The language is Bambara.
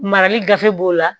Marali gafe b'o la